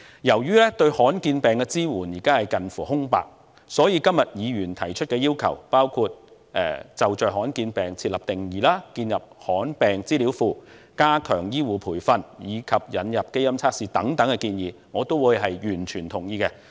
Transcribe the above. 由於現時對罕見疾病的支援近乎空白，所以議員今天提出的要求，包括就着罕見疾病設立定義，建立罕見疾病資料系統，加強醫護培訓，以及引入基因測試的建議等，我也完全同意。